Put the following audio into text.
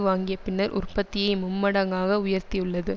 வாங்கிய பின்னர் உற்பத்தியை மும்மடங்காக உயர்த்தியுள்ளது